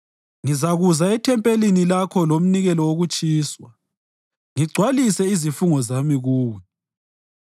Ngizakuza ethempelini Lakho lomnikelo wokutshiswa ngigcwalise izifungo zami Kuwe.